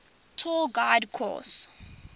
tour guide course